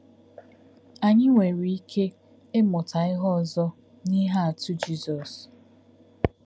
Anyị nwere ike ịmụta ihe ọzọ n’ihe atụ Jizọs.